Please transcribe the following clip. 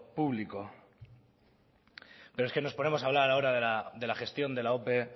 público pero es que nos ponemos a hablar ahora de la gestión de la ope